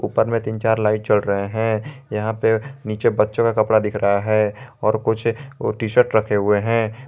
ऊपर में तीन चार लाइट जल रहे हैं यहां पे नीचे बच्चों का कपड़ा दिख रहा है और कुछ टी_शर्ट रखे हैं।